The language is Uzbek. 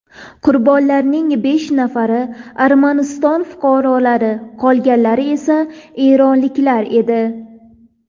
Qurbonlarning besh nafari Armaniston fuqarolari, qolganlar esa eronliklar edi.